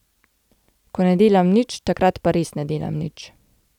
Ko ne delam nič, takrat pa res ne delam nič.